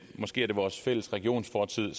måske er det vores fælles regionsfortid